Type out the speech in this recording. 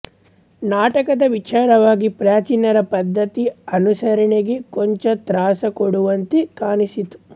ನಾಟಕದ ವಿಚಾರವಾಗಿ ಪ್ರಾಚೀನರ ಪದ್ಧತಿ ಅನುಸರಣೆಗೆ ಕೊಂಚ ತ್ರಾಸ ಕೊಡುವಂತೆ ಕಾಣಿಸಿತು